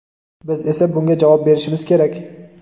biz esa bunga javob berishimiz kerak.